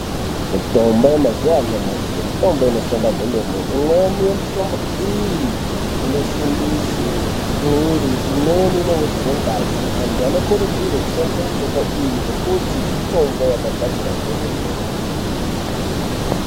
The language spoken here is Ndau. Mitombo yemazuva anyamashi mitombo inoshanda kwemene. Imweni yemitombo iyi inosimbise mwiiri, imweni inowedzere ngazi. Antu anokurudzirwe kushandise mitombo iyi ngekuti mitombo yakagadzirwa zvemene.